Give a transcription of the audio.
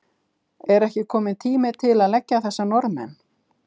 Og er ekki kominn tími til að leggja þessa Norðmenn?